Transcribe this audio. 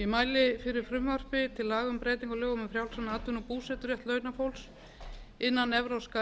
ég mæli fyrir frumvarpi til laga um breytingu á lögum um frjálsan atvinnu og búseturétt launafólks innan evrópska